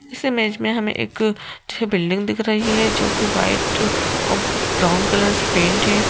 इस इमेज में हमें एक जो है बिल्डिंग दिख रही है जो कि व्हाइट और ब्राउन कलर से पेंट है।